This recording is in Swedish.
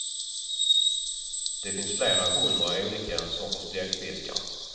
Det finns flera hundra olika sorters bläckfiskar.